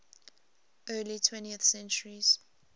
early twentieth centuries